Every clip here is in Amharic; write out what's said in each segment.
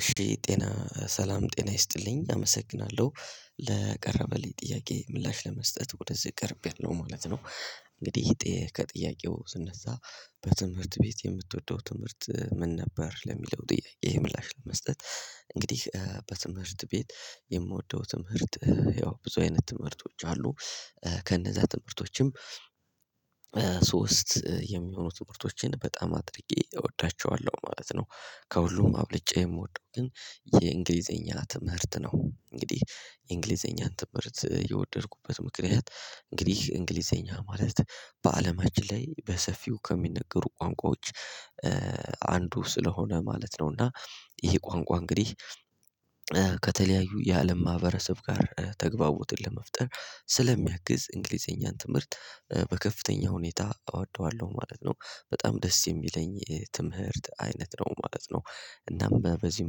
እሺ ጤና ሰላም ጤና ይስጥልኝ አመሰግናለሁ ::ለቀረበልኝ ጥያቄ ምላሽ ለመስጠት ወደዚህ ቀርቤለሁ ማለት ነው። እንግዲህ ከጥያቄው ስነሳ በትምህርት ቤት የምትወደው ትምህርት ምን ነበር? ለሚለው ጥያቄ ምላሽ ለመስጠት- እንግዲህ በትምህርት ቤት የምወደው ትምህርት ያው ብዙ አይነት ትምህርቶች አሉ። ከነዛ ትምህርቶችም:- የሚሆኑት ትምህርቶቼን በጣም አድርጌ እወዳቸዋለሁ ማለት ነው። ከሁሉም አብልጬ የምወደው ግን የእንግሊዘኛ ትምህርት ነው። እንግዲህ የእንግሊዘኛ ትምህርት የወደድኩበት ምክንያት:- እንግዲህ እንግሊዘኛ ማለት በአለማችን ላይ በሰፊው ከሚነገሩ ቋንቋዎች- አንዱ ስለሆነ ማለት ነው። እና ይሄ ቋንቋ እንግዲህ- ከተለያዩ የአለም ማህበረሰብ ጋር ተግባቦትን ለመፍጠር ስለሚያግዝ እንግሊዘኛን ትምህርት በከፍተኛ ሁኔታ እወደዋለሁ ማለት ነው። በጣም ደስ የሚለኝ የትምህርት አይነት ነው ማለት ነው። እናም በዚህ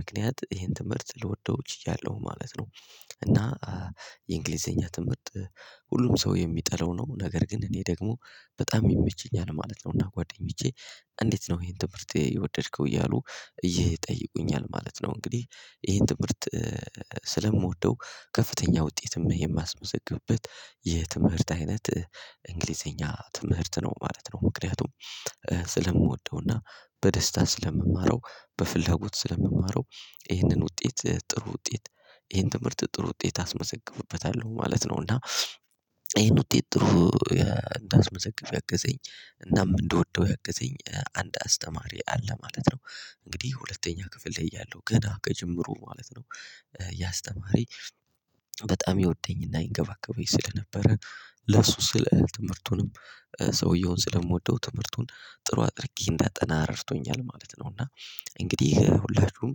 ምክንያት ይሄን ትምህርት ልወደው ችያለሁ ማለት ነው ::እና- የእንግሊዘኛ ትምህርት ሁሉም ሰው የሚጠላው ነው። ነገር ግን እኔ ደግሞ በጣም ይመቸኛል ማለት ነው ::እና ጓደኞቼ እንዴት ነው ይሄን ትምህርት የወደድከው እያሉ ይጠይቁኛል ማለት ነው ::እንግዲህ ይሄን ትምህርት- ስለምወደው ከፍተኛ ውጤትም የማስመዘግብበት የትምህርት አይነት እንግሊዘኛ ትምህርት ነው ማለት ነው። ምክንያቱም:- ስለምወደውና በደስታ ስለምማረው በፍላጎት ስለምማረው ይህንን ውጤት ጥሩ ውጤት ይህን ትምህርት ጥሩ ውጤት አስመዘግብበታለሁ ማለት ነው ::እና- ይህን ውጤት ጥሩ እንዳስመዘገብ ያገዘኝ እናም እንደወደው ያገዘኝ አንድ አስተማሪ አለ ::ማለት ነው እንግዲህ ሁለተኛ ክፍል እያለሁ ገና ከጅምሩ ማለት ነው- ያ አስተማሪ በጣም ይወደኝና ይንከባከበኝ ስለነበረ- ለሱ ስለ ትምህርቱንም ሰውየውን ስለምወደው ትምህርቱን ጥሩ አድርጌ እንዳጠና ረድቶኛል :ማለት ነው። እና እንግዲህ ሁላችሁም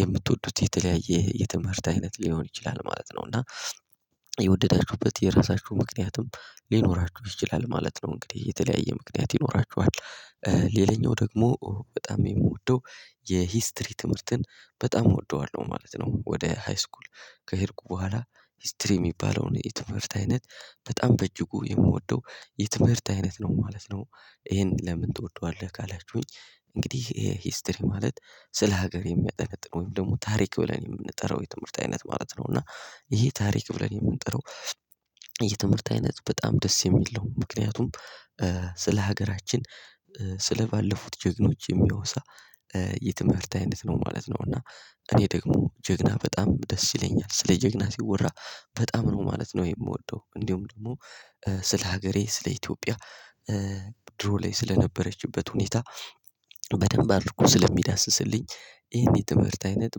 የምትወዱት የተለያየ የትምህርት አይነት ሊኖር ይችላል ማለት ነው እና- የወደዳችሁበት የራሳችሁ ምክንያትም ሊኖራችሁ ይችላል ማለት ነው። እንግዲህ የተለያየ ምክንያት ይኖራችኋል። ሌላኛው ደግሞ በጣም የምወደው የሂስትሪ ትምህርትን በጣም እወደዋለሁ ማለት ነው። ወደ ሃይስኩል ከሄድኩ በኋላ ሂስትሪ የሚባለውን የትምህርት አይነት በጣም በእጅጉ የምወደው የትምህርት አይነት ነው ማለት ነው። ይሄን ለምን ትወደዋለህ ካላችሁኝ እንግዲህ ይሄ ሂስትሪ ማለት ስለ ሀገር የሚያጠነጥን ወይም ደግሞ ታሪክ ብለን የምንጠራው የትምህርት አይነት ማለት ነው። እና ይሄ ታሪክ ብለን የምንጠራው የትምህርት አይነት በጣም ደስ የሚል ነው። ምክንያቱም:- ስለ ሀገራችን ስለ ባለፉት ጀግኖች የሚያወሳ የሚወሳ የትምህርት አይነት ነው ማለት ነው። እና እኔ ደግሞ ጀግና በጣም ደስ ይለኛል ስለ ጀግና ሲወራ በጣም ነው ማለት ነው የምወደው እንዲሁም ደግሞ- ስለ ሀገሬ ስለ ኢትዮጵያ ድሮ ላይ ስለነበረችበት ሁኔታ በደንብ አድርጎ ስለሚዳስስልኝ ይሄን የትምህርት አይነት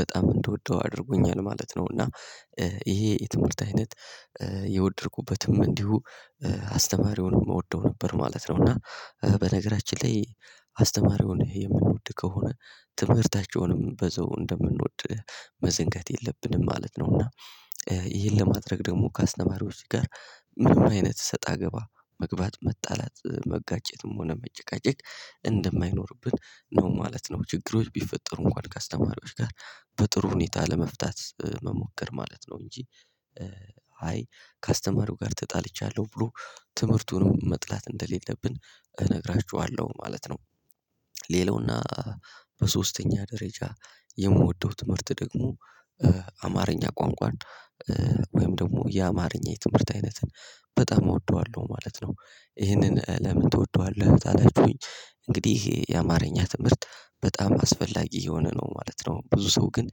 በጣም እንደወደው አድርጎኛል ማለት ነው። እና- ይሄ የትምህርት አይነት የወደድኩበትም እንዲሁ አስተማሪውን እወደው ነበር ማለት ነው። እና በነገራችን ላይ አስተማሪውን የምንወድ ከሆነ ትምህርታቸውንም በዘው እንደምንወድ መዘንገት የለብንም ማለት ነው። እና- ይህን ለማድረግ ደግሞ ካስተማሪዎች ጋር ምንም አይነት ሰጣ ገባ መግባት መጣላት: መጋጨትም ሆነ መጨቃጨቅ እንደማይኖርብን ነው ማለት ነው ::ችግሮች ቢፈጠሩ እንኳን ከአስተማሪዎች ጋር በጥሩ ሁኔታ ለመፍታት መሞከር ማለት ነው። እንጂ- አይ ከአስተማሪው ጋር ተጣልቻለሁ ብሎ ትምህርቱንም መጥላት እንደሌለብን እነግራችኋለሁ ማለት ነው። ሌላውና በሶስተኛ ደረጃ የምወደው ትምህርት ደግሞ አማርኛ ቋንቋን- ወይም ደግሞ የአማርኛ የትምህርት አይነትን በጣም እወደዋለሁ ማለት ነው። ይህንን ለምን ትወደዋለህ? ታላችሁኝ እንግዲህ የአማርኛ ትምህርት በጣም አስፈላጊ የሆነ ነው ማለት ነው። ብዙ ሰው ግን-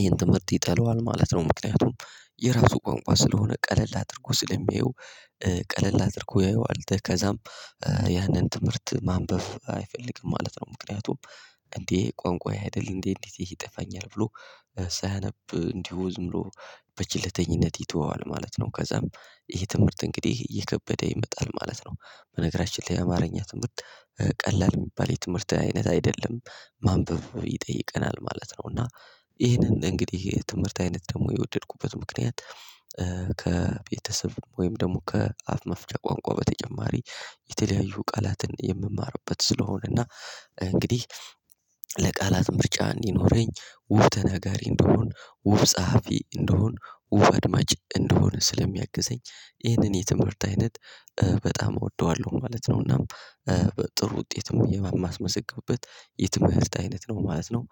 ይሄን ትምህርት ይጠለዋል ማለት ነው። ምክንያቱም:- የራሱ ቋንቋ ስለሆነ ቀለል አድርጎ ስለሚያየው ቀለል አድርጎ ያየዋል። ከዛም ያንን ትምህርት ማንበብ አይፈልግም ማለት ነው። ምክንያቱም :-እንዴ ቋንቋዬ አይደለም እንዴ እንዴት ይሄ ይጠፋኛል ብሎ ሳያነብ እንዲሁ ዝም ብሎ- ይተወዋል ማለት ነው። ከዛም ይሄ ትምህርት እንግዲህ እየከበደ ይመጣል ማለት ነው ::በነገራችን ላይ የአማርኛ ትምህርት ቀላል የሚባል የትምህርት አይነት አይደለም። ማንበብ ይጠይቀናል ማለት ነው። እና- ይሄንን እንግዲህ ይሄ ትምህርት አይነት ደግሞ የወደድኩበት ምክንያት ከቤተሰብ ወይም ደግሞ ከአፍ መፍቻ ቋንቋ በተጨማሪ የተለያዩ ቃላትን የምማርበት ስለሆነ እና እንግዲህ ለቃላት ምርጫ እንዲኖረኝ :ውብ ተነጋሪ እንደሆን :ውብ ጸሐፊ እንደሆን: ዉብ አድማጭ እንደሆን ስለሚያግዘኝ ይህንን የትምህርት አይነት በጣም እወደዋለሁ ማለት ነው። እና- ጥሩ ውጤትም የማስመዘገብበት የትምህርት አይነት ነው ማለት ነው።